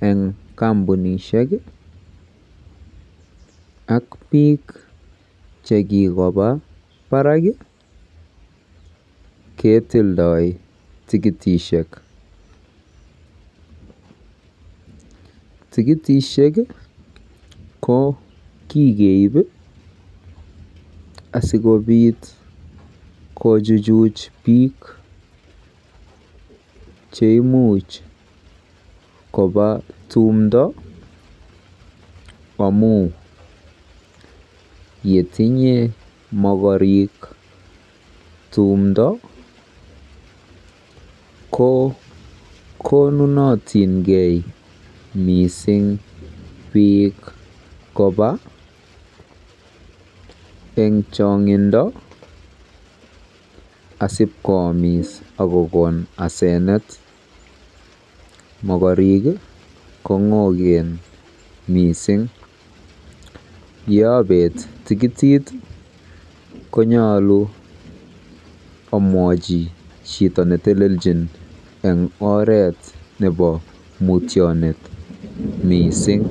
eng kampunisiek ak biik chekikoba baraak ketildo tikitisiek. Tikitisiek ko kikeib asikobiit kojujuch biik cheimuch koba tumdo amu yetinye mogorik tumdo ko konunotinkei mising biik koba eng chong'indo asibkoamis akokon asenet. Yeabet tikitit konyolu aborji chito neteleljin eng oret nebo mutyonet miising.